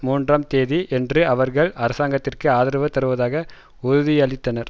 மூன்றாம் தேதி அன்று அவர்கள் அரசாங்கத்திற்கு ஆதரவு தருவதாக உறுதியளித்தனர்